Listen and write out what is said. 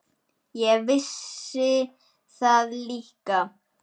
Ég vissi það líka.